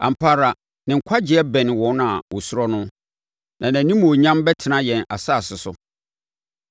Ampa ara, ne nkwagyeɛ bɛne wɔn a wɔsuro no, na nʼanimuonyam bɛtena yɛn asase so.